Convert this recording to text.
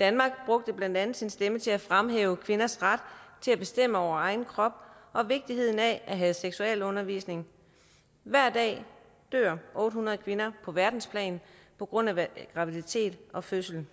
danmark brugte blandt andet sin stemme til at fremhæve kvinders ret til at bestemme over egen krop og vigtigheden af at have seksualundervisning hver dag dør otte hundrede kvinder på verdensplan på grund af graviditet og fødsel